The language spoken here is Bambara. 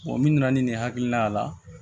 min nana ni ne hakiliina a la